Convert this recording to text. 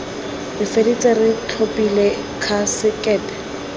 re feditse re tlhophile khasekete